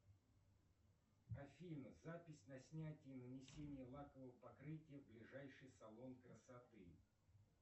афина запись на снятие нанесение лакового покрытия в ближайший салон красоты